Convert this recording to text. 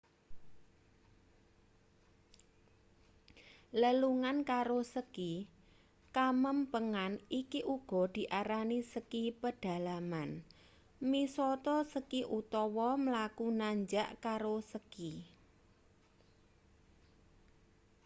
lelungan karo ski kamempengan iki uga diarani ski pedalaman misata ski utawa mlaku nanjak karo ski